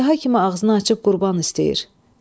Əjdaha kimi ağzını açıb qurban istəyir.